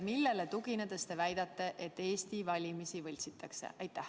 Millele tuginedes te väidate, et Eestis valimisi võltsitakse?